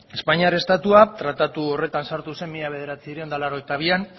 espainiar estatua tratatu horretan sartu zen mila bederatziehun eta laurogeita bian